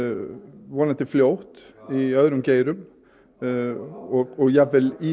vonandi fljótt í öðrum geirum og jafnvel í